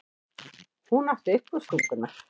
Hún átti uppástunguna.